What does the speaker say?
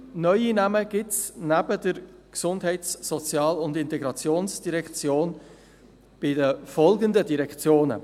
Neue Namen gibt es, neben der GEF, bei folgenden Direktionen: